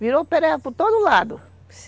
Virou pereba por todo lado.